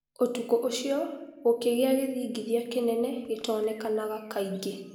ũtukũ ũcio gũkĩgĩa gĩthingithia kĩnene gĩtonekanaga kaingĩ.